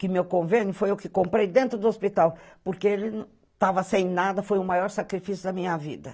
Que meu convênio foi o que eu comprei dentro do hospital, porque ele estava sem nada, foi o maior sacrifício da minha vida.